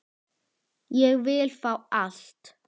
Ég vil fá allt.